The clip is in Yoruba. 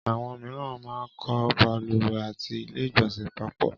Àwọn mìíràn máa ń kọ́ balùwẹ̀ àti ilé ìgbọ̀nsẹ̀ papọ̀